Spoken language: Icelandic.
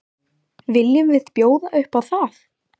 Viljum við bjóða upp á það?